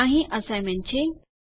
અહીં અસાઇનમેન્ટ છે